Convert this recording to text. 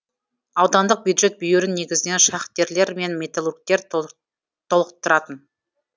аудандық бюджет бүйірін негізінен шахтерлар мен металлургтер толтыратын